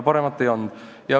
Paremat ei olnud.